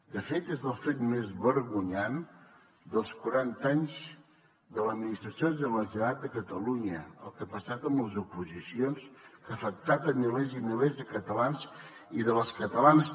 de fet és el fet més vergonyant dels quaranta anys de l’administració de la generalitat de catalunya el que ha passat amb les oposicions que ha afectat milers i milers de catalans i de catalanes